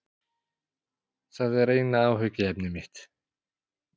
Það er eina áhyggjuefni mitt.